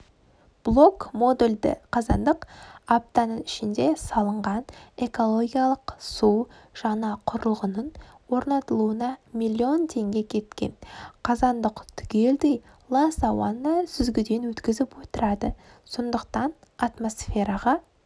блок-модульді қазандық аптаның ішінде салынған экологиялық су жаңа құрылғының орнатылуына миллион теңге кеткен қазандық түгелдей лас ауаны сүзгіден өткізіп отырады сондықтанатмосфераға